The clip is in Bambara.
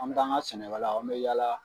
An mi taa an ga sɛnɛkɛlaw an mi yaala